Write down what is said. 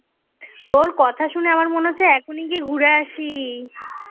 তোর কথা শুনে আমার মনে হচ্ছে এখনি গিয়ে ঘুরে আসি.